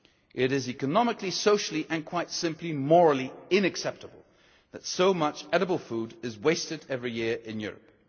It is economically, socially and, quite simply, morally unacceptable that so much edible food is wasted every year in Europe.